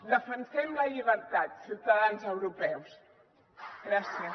defensem la llibertat ciutadans europeus gràcies